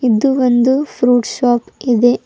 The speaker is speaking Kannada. ಇದು ಒಂದು ಫ್ರೂಟ್ ಶಾಪ್ ಇದೆ.